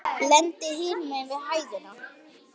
Lendi hinum megin við hæðina.